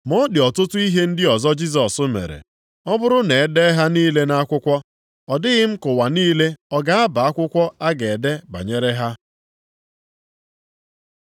Ma ọ dị ọtụtụ ihe ndị ọzọ Jisọs mere. Ọ bụrụ na e dee ha niile nʼakwụkwọ, ọ dịghị m ka ụwa niile ọ ga-aba akwụkwọ a ga-ede banyere ha.